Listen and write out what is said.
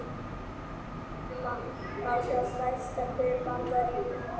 hér má sjá stærsta hver bandaríkjanna